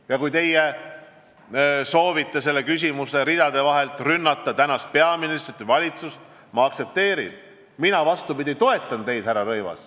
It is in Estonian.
Ja kui teie soovite oma küsimusega läbi lillede rünnata praegust peaministrit või valitsust, siis mina hoopis toetan teid, härra Rõivas.